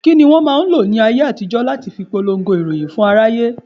Kini wọn máa ń lọ láyé àtijó láti fi polongo ìròyìn fún aráyé?